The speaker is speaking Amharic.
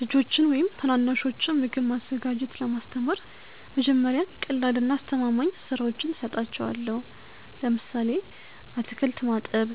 ልጆችን ወይም ታናናሾችን ምግብ ማዘጋጀት ለማስተማር መጀመሪያ ቀላልና አስተማማኝ ሥራዎችን እሰጣቸዋለሁ። ለምሳሌ አትክልት ማጠብ፣